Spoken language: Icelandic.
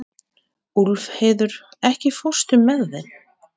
Úlfheiður, ekki fórstu með þeim?